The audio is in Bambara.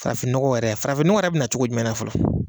Farafin nɔgɔ yɛrɛ , farafin nɔgɔ yɛrɛ bɛna na cogo jumɛn fɔlɔ?